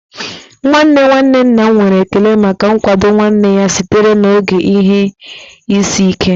Nwanne nwanne nna m nwere ekele maka nkwado nwanne ya sitere n'oge ihe isi ike